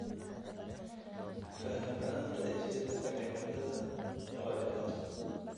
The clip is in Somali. Faham la'aanta isbeddelka cimilada waa dhibaato.